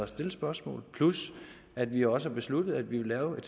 stille spørgsmål plus at vi også har besluttet at vi vil lave et